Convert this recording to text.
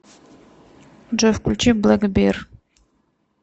джой включи блэкбир